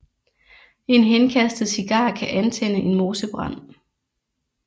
En henkastet cigar kan antænde en mosebrand